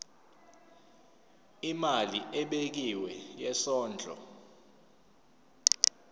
imali ebekiwe yesondlo